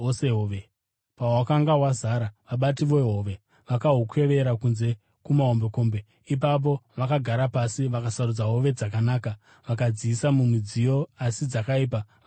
Pahwakanga hwazara vabati vehove vakahukwevera kunze kumahombekombe. Ipapo vakagara pasi vakasarudza hove dzakanaka vakadziisa mumidziyo, asi dzakaipa vakadzirasa.